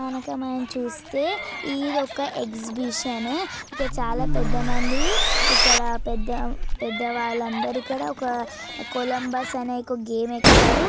మనకు చూస్తే ఇధి ఒక ఏక్సిబిసన్ . ఇక్కడ చాలా పెద్ద మంది ఇక్కడ పెద్ద పెద్ద వాళ్ళు అందరూ ఇక్కడ ఒక కొలంబస్ అని ఒక గేమ్ ఎక్కారు.